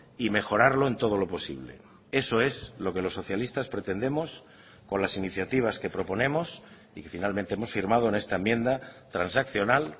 y mejorarlo en todo lo posible eso es lo que los socialistas pretendemos con las iniciativas que proponemos y que finalmente hemos firmado en esta enmienda transaccional